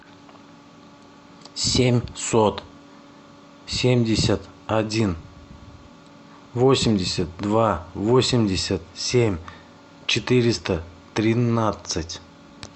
семьсот семьдесят один восемьдесят два восемьдесят семь четыреста тринадцать